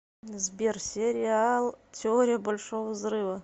сбер сериал теория большого взрыва